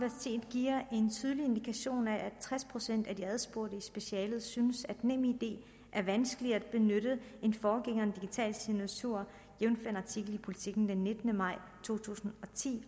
giver en tydelig indikation af at tres procent af de adspurgte i specialet synes at nemid er vanskeligere at benytte end forgængeren digital signatur jævnfør en artikel i politiken den nittende maj to tusind